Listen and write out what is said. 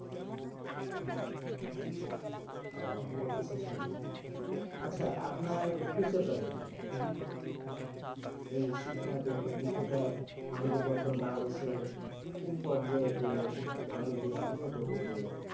ও ভর্তি শেষ হয়নি, আচ্ছা আপনার future plan কি? এই শিক্ষার বিষয়টা আমাদের বর্তমান বাংলাদেশে কোন পর্যায়ে গেলে, আমাদের দেশ উন্নত করবে।